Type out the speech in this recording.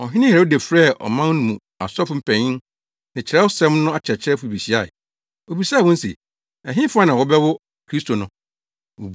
Ɔhene Herode frɛɛ ɔman no mu asɔfo mpanyin ne Kyerɛwsɛm no akyerɛkyerɛfo behyiae. Obisaa wɔn se, “Ɛhefa na wɔbɛwo Kristo no?”